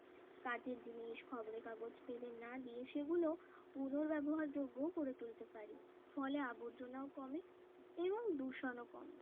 কাঁচের জিনিস খবরের কাগজ ফেলে না দিয়ে সেগুলো পুনর ব্যবহারযোগ্য করে তুলতে পারি ফলে আবর্জনীয়ও কমে এবং দূষণও কমে